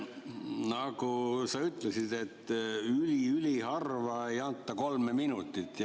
Nagu sa ütlesid, et üli-üliharva ei anta kolme minutit.